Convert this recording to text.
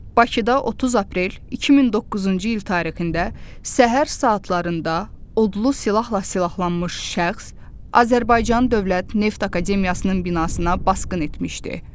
Bakıda 30 aprel 2009-cu il tarixində səhər saatlarında odlu silahla silahlanmış şəxs Azərbaycan Dövlət Neft Akademiyasının binasına basqın etmişdi.